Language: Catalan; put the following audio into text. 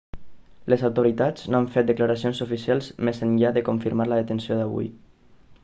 les autoritats no han fet declaracions oficials més enllà de confirmar la detenció d'avui